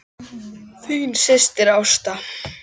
Þín systir, Ásta.